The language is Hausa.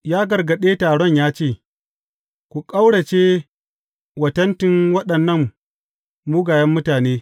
Ya gargaɗe taron ya ce, Ku ƙaurace wa tentin waɗannan mugayen mutane!